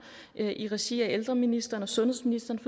i regi af ældreministeren og sundhedsministeren